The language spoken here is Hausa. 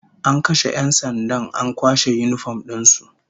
An kashe 'yan sandan an kwashe yinifom din su